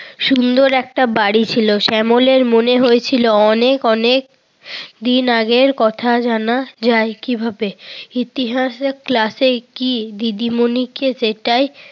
সুন্দর একটা বাড়ি ছিল। শ্যামলের মনে হয়েছিল অনেক অনেক দিন আগের কথা জানা যায় কিভাবে। ইতিহাসের ক্লাসে কি দিদিমণি কি সেটাই